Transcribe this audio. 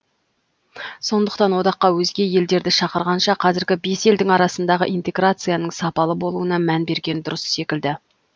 сондықтан одаққа өзге елдерді шақырғанша қазіргі бес елдің арасындағы интеграцияның сапалы болуына мән берген дұрыс секілді